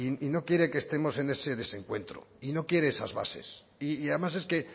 y no quiere que estemos en ese desencuentro y no quiere esas bases y además es que